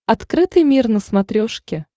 открытый мир на смотрешке